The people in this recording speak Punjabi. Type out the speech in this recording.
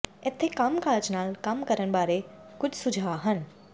ਇੱਥੇ ਕੰਮਕਾਜ ਨਾਲ ਕੰਮ ਕਰਨ ਬਾਰੇ ਕੁਝ ਸੁਝਾਅ ਹਨ